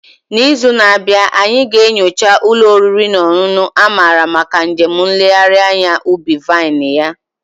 N'izu na-abịa, anyị ga-enyocha ụlọ oriri na ọṅụṅụ a mara maka njem nlegharị anya ubi vine ya.